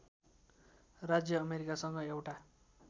राज्य अमेरिकासँग एउटा